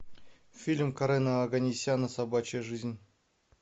фильм карена оганесяна собачья жизнь